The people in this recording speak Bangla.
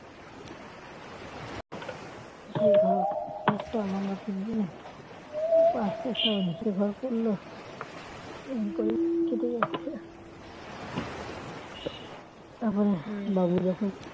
সেই ঘর একটা আমরা তিনজনে উপরে তারপর আস্তে আস্তে আবার নিচে ঘর করল এরকম করেই কেটে যাচ্ছে তারপরে বাবুর যখন